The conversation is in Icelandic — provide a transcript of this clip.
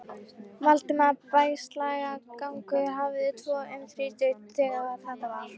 Valdimar Bægslagangur hafði tvo um þrítugt, þegar þetta var.